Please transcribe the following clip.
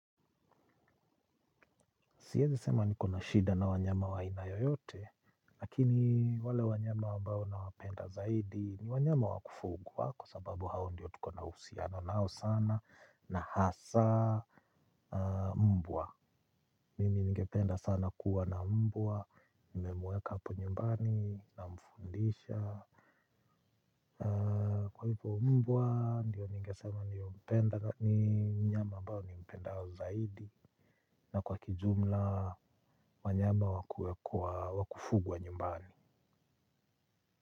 Siezi sema niko na shida na wanyama wa aina yoyote, lakini wale wanyama ambao nawapenda zaidi ni wanyama wa kufugwa kwa sababu hao ndiyo tuko na uhusiano nao sana na hasa mbwa. Mimi ningependa sana kuwa na mbwa, nimemweka hapo nyumbani namfundisha. Kwa hivyo mbwa, ndiyo ningesema, ni mnyama ambao nimpendao zaidi. Na kwa kijumla, wanyama wa kufugwa nyumbani.